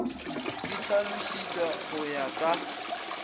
di hlalošišwa go ya ka